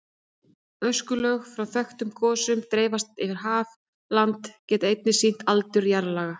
Öskulög frá þekktum gosum sem dreifst hafa yfir land geta einnig sýnt aldur jarðlaga.